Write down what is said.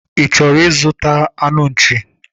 Ị chọrọ ịzụta anụ nchi?